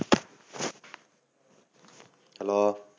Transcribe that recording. hello